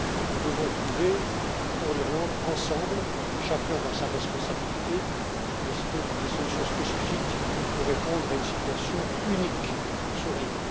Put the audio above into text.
Nous devons trouver pour l'Irlande, ensemble, chacun dans sa responsabilité, des solutions spécifiques pour répondre à une situation unique sur l'île.